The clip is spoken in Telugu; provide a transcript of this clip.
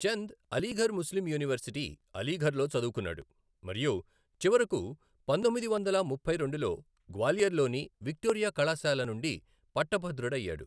చంద్ అలీఘర్ ముస్లిం యూనివర్శిటీ, అలీఘర్లో చదువుకున్నాడు మరియు చివరకు పంతొమ్మిది వందల ముప్పై రెండులో గ్వాలియర్లోని విక్టోరియా కళాశాల నుండి పట్టభద్రుడయ్యాడు.